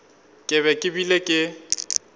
ke be ke bile ke